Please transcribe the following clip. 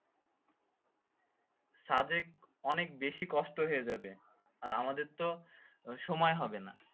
সাজেক অনেক বেশি কষ্ট হইয়ে যাবে। আর আমাদের তো সময় হবেনা।